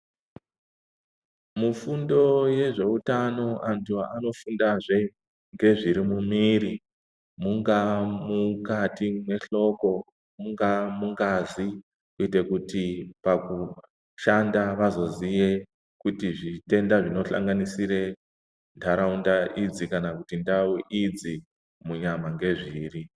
Mufundo yezveutano antu anofundazve ngezviri mumiri mungaa mukati mehloko, mungaa mungazi kuite kuti pakushanda vazoziye kuti zvitenda zvinohlanganisire ndaraunda idzi kana kuti ndau idzi munyama ngezviri.